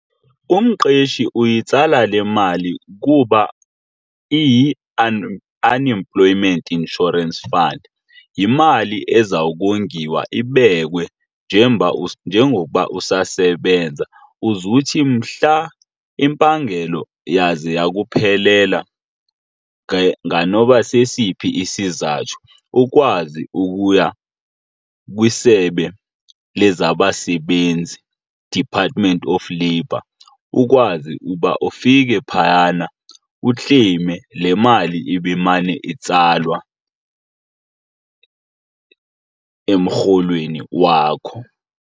Umqeshi uyitsala le mali kuba iyi-unemployment insurance fund. Yimali eza kongiwa ibekwe njengoba usasebenza uze uthi mhla impangelo yaze yakuphelela nganoba sesiphi isizathu ukwazi ukuya kwisebe lezabasebenzi department of labor ukwazi uba ufike phayana ukleyime le mali ibimane itsalwa emrholweni wakho.